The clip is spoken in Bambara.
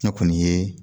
Ne kɔni ye